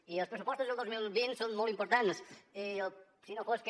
i els pressupostos del dos mil vint són molt importants si no fos que